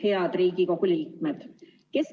Head Riigikogu liikmed!